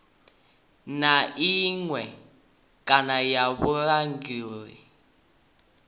na iṅwe kana ya vhulanguli